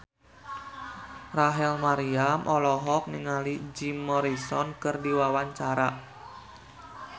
Rachel Maryam olohok ningali Jim Morrison keur diwawancara